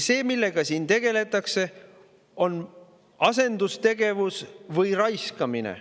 See, millega siin tegeldakse, on asendustegevus või raiskamine.